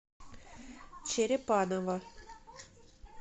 черепаново